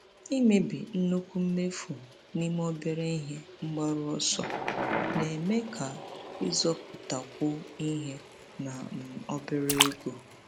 Ịmebi nnukwu mmefu n'ime obere ihe mgbaru ọsọ na-eme ka ịzọpụtakwu ihe na um obere ego.